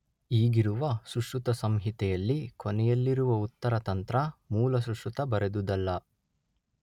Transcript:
ಈಗಿರುವ ಸುಶ್ರುತ ಸಂಹಿತೆಯಲ್ಲಿ ಕೊನೆಯಲ್ಲಿರುವ ಉತ್ತರ ತಂತ್ರ ಮೂಲ ಸುಶ್ರುತ ಬರೆದುದಲ್ಲ